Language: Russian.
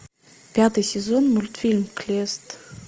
пятый сезон мультфильм клест